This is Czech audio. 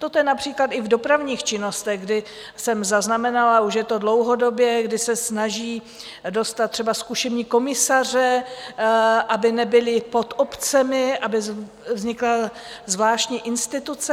Toto je například i v dopravních činnostech, kdy jsem zaznamenala - už je to dlouhodobě - kdy se snaží dostat třeba zkušební komisaře, aby nebyli pod obcemi, aby vznikla zvláštní instituce.